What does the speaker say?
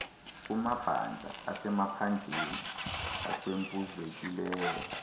kumabandla asemaphandleni ahlwempuzekileyo